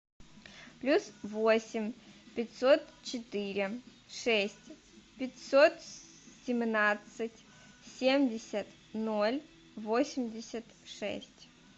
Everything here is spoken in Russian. плюс восемь пятьсот четыре шесть пятьсот семнадцать семьдесят ноль восемьдесят шесть